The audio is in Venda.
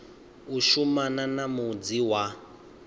u shumana na mudzi wa